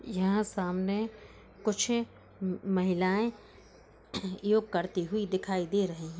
यहाँ सामने कुछ महिलाए योग करती हुई दिखाई दे रही है।